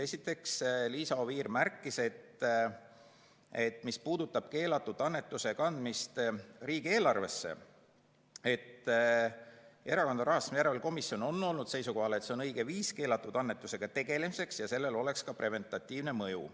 Esiteks, Liisa Oviir märkis, et mis puudutab keelatud annetuse kandmist riigieelarvesse, siis Erakondade Rahastamise Järelevalve Komisjon on olnud seisukohal, et see on õige viis keelatud annetusega tegelemiseks ja sellel oleks ka preventiivne mõju.